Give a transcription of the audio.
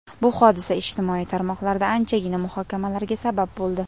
Bu hodisa ijtimoiy tarmoqlarda anchagina muhokamalarga sabab bo‘ldi.